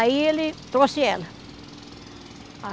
Aí ele trouxe ela.